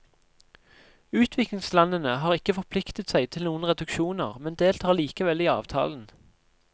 Utviklingslandene har ikke forpliktet seg til noen reduksjoner, men deltar likevel i avtalen.